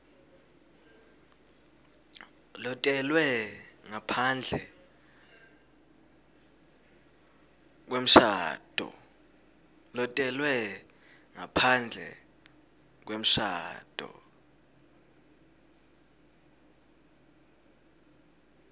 lotelwe ngaphandle kwemshado